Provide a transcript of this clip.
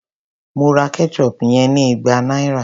Mo ra ketchup yen ní igba náírà.